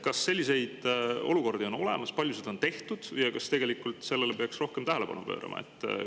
Kas selliseid olukordi on olemas, palju seda on tehtud ja kas tegelikult sellele peaks rohkem tähelepanu pöörama?